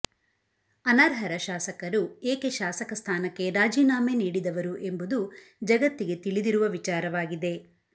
ಅನರ್ಹರ ಶಾಸಕರು ಏಕೆ ಶಾಸಕ ಸ್ಥಾನಕ್ಕೆ ರಾಜೀನಾಮೆ ನೀಡಿದವರು ಎಂಬುದು ಜಗತ್ತಿಗೆ ತಿಳಿದಿರುವ ವಿಚಾರವಾಗಿದೆ